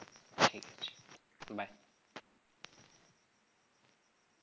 ঠিক আছে bye